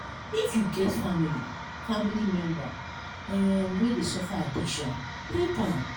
if you get family family member um wey dey suffer addiction help am.